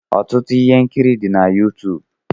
Ọtụtụ ihe nkiri dị na Yuutuub.